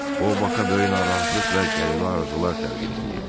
O Baka böyük narahatlıq və qəribə arzular təlqin eləyirdi.